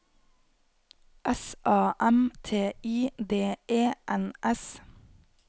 S A M T I D E N S